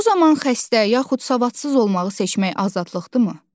Bu zaman xəstə, yaxud savadsız olmağı seçmək azadlıqdır mı?